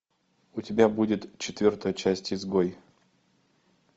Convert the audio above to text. у тебя будет четвертая часть изгой